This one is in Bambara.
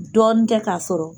Dɔɔni kɛ k'a sɔrɔ